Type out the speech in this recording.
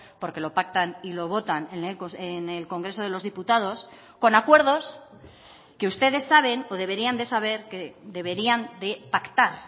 porque lo pactan y lo votan en el congreso de los diputados con acuerdos que ustedes saben o deberían de saber que deberían de pactar